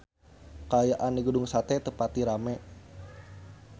Kaayaan di Gedung Sate teu pati rame